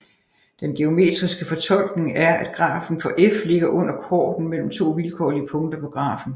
Den geometriske fortolkning er at grafen for f ligger under korden mellem to vilkårlige punkter på grafen